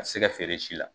A tɛ se ka feere si la